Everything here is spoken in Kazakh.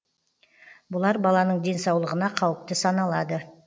бұлар баланың денсаулығына қауіпті саналады